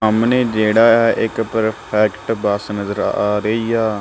ਸਾਹਮਣੇ ਜਿਹੜਾ ਹੈ ਇੱਕ ਪਰਫੈਕਟ ਬੱਸ ਨਜ਼ਰ ਆ ਰਹੀ ਆ।